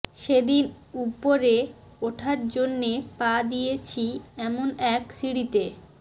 সেদিন উপরে ওঠার জন্যে পা দিয়েছি এমন এক সিঁড়িতে